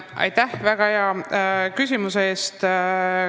Aitäh väga hea küsimuse eest!